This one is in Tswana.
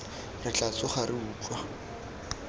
re tla tsoga re utlwa